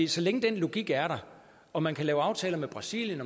så længe den logik er der og man kan lave aftaler med brasilien